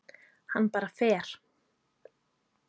Hann bara fer.